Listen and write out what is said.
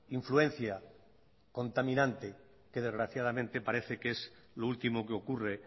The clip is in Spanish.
influencia contaminante que desgraciadamente parece que es lo último que ocurre